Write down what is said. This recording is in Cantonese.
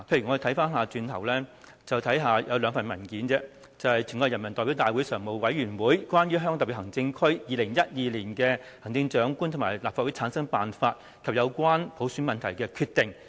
我們必須看看兩份文件，就是"全國人民代表大會常務委員會關於香港特別行政區2012年行政長官和立法會產生辦法及有關普選問題的決定"。